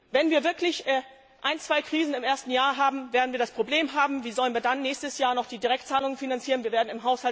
Wenn wir wirklich ein, zwei Krisen im ersten Jahr haben, werden wir das Problem haben, wie wir dann im nächsten Jahr noch die Direktzahlungen finanzieren sollen.